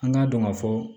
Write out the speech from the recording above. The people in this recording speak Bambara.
An k'a dɔn ka fɔ